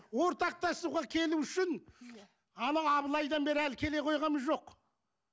ортақтасуға келу үшін анау абылайдан бері әлі келе қойғанымыз жоқ